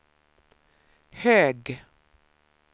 hög